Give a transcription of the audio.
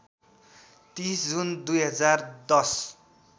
३० June २०१०